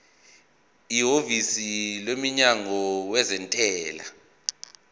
ihhovisi lomnyango wezentela